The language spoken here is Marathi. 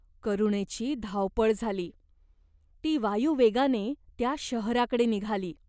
करुणेची धावपळ झाली. ती वायुवेगाने त्या शहराकडे निघाली.